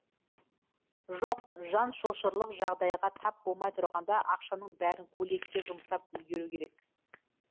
жоқ жан шошырлық жағыдайға тап болмай тұрғанда ақшаның бәрін көйлекке жұмсап үлгеру керек